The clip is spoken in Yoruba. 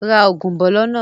Ra oúnjẹ bọ̀ lọ́nà ó!